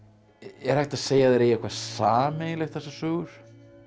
er hægt að segja að þær eigi eitthvað sameiginlegt þessar sögur